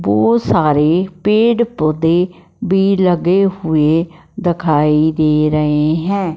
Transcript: बहोत सारे पेड़ पौधे भी लगे हुए दिखाई दे रहे हैं।